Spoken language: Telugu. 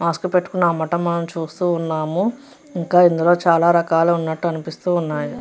మాస్క్ పెట్టుకొని అమ్మటం మనం చూస్తూ ఉన్నాము ఇంకా ఇందులో చాల రకాలు ఉన్నటు అనిపిస్తున్నాయి.